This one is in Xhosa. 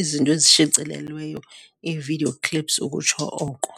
izinto ezishicelelweyo, ii-video clips ukutsho oko.